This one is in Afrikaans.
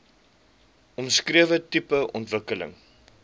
omskrewe tipe ontwikkeling